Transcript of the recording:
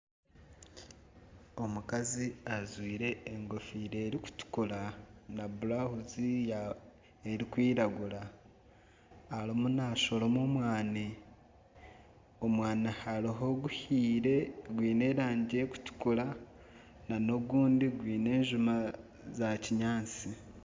Omukazi ajwaire enkofiira erikutukura na burawuzi erikwiragura arimu nashoroma omwaani, omwaani hariho oguhiire gwine erangi erikutukura nana ogundi gwine enjuma za kinyaatsi.